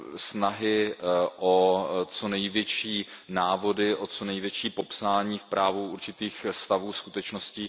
snahy o co největší návody, o co největší popsání v právu určitých stavů, skutečností.